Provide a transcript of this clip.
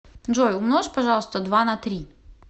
джой умножь пожалуйста два на три